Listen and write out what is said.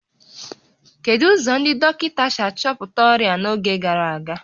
Kedu ụzọ ndị dọkịta si achọpụta ọrịa n'oge gara aga?